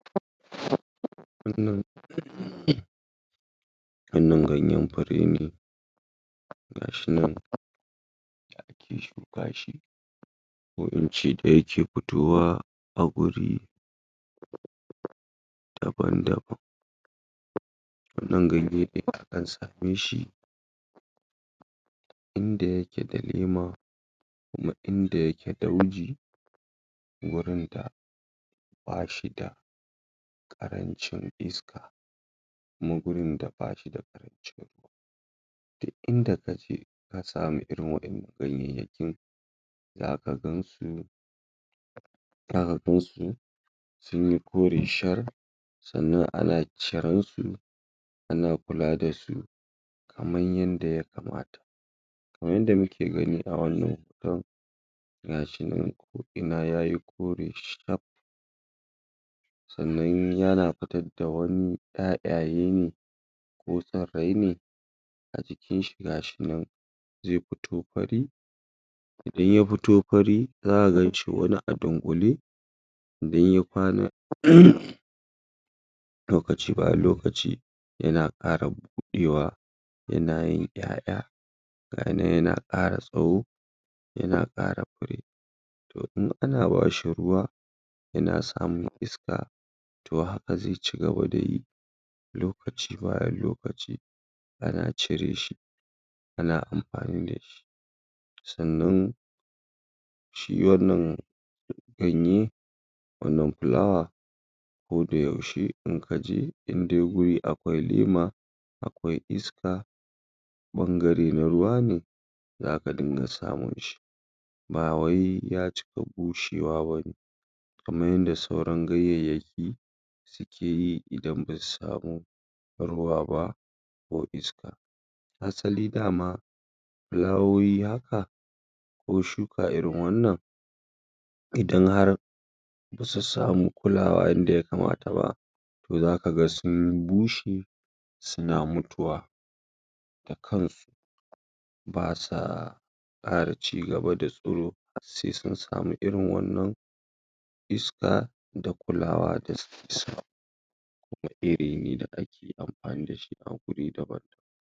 Wannan um Wannan ganyen fure ne ga shi nan ya shuka shi ko in ce da yake fitowa a guri daban-daban wannan ganye akan same shi inda yake da leema kuma inda yake dauji gurin da ba shi da ƙarancin iska kuma gurin da ba shi da? duk inda ka je ka samu irin waƴannan gayyakin za ka gan su za ka gan su sun yi kore shar sannan ana ciran su ana kula da su kaman yanda ya kamata kaman yanda muke gani a wannan hoton ga shi nan ko'ina ya yi kore shar sannan yana fitar da wani ƴaƴaye ne ko tsirrari ne a jikinshi ga shi nan ze fito fari idan ya fito fari za ka gan shi wani a dunƙule idan ya kwana um lokaci bayan lokaci yana ƙara buɗewa yana yin ƴaƴa ga yi nan yana ƙara tsawo yana ƙara fure to in ana ba shi ruwa yana samun iska to haka ze cigaba da yi lokaci bayan lokaci ana cire shi ana amfani da shi sannan shi wannan ganye wannan fulawa ko da yaushe in kanje inde guri akwai lema akwai iska ɓangare na ruwa ne za ka din ga samun shi ba wai ya cika bushewa ba ne kaman yanda sauran gayayyaki suke yi idan ba su samu ruwa ba ko iska asali da ma filawowi haka ko shuka irin wannan idan har ba su samu kulawa yanda ya kamata ba to zaka ga sun bushe suna mutuwa da kansu ba sa ƙara cigaba da tsiro se sun samu irin wannan iska da kulawa da? kuma iri ne da ake amfani da shi a guri daban-daban